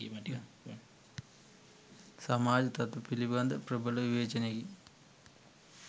සමාජ තතු පිළිබඳ ප්‍රබල විවේචනයකි.